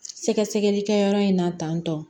Sɛgɛsɛgɛli kɛyɔrɔ in na tan tantɔ